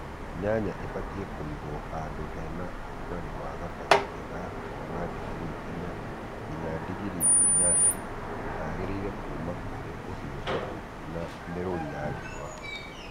Njanjo ibatiĩ kũigwo handũ he na ũrugarĩ wa gatagatĩ-inĩ ga kuma ndingiri inya nginya ndingiri inyanya na hagitĩre kuma kurĩ ũhiũhu na mĩrũri ya riũa